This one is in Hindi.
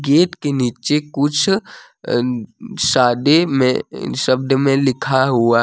के नीचे कुछ अ सादे में शब्द में लिखा हुआ--